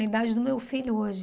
A idade do meu filho hoje.